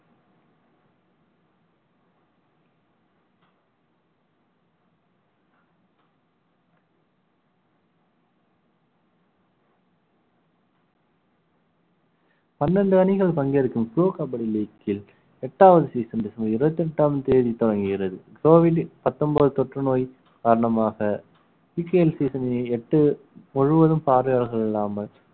பன்னெண்டு அணிகள் பங்கேற்கும் pro கபடி league ல் எட்டாவது season டிசம்பர் இருபத்தி எட்டாம் தேதி துவங்குகிறது covid ன் பத்தொன்பது தொற்றுநோய் காரணமாக எட்டு முழுவதும் பார்வையாளர்கள் இல்லாமல்